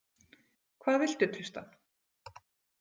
Hvað viltu, Tristan?